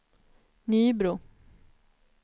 Nybro